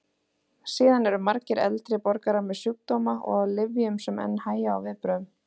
Síðan eru margir eldri borgarar með sjúkdóma og á lyfjum sem enn hægja á viðbrögðum.